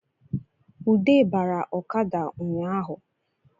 Ude bara ọkada ụnyahụ